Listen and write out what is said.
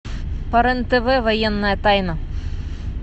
по рен тв военная тайна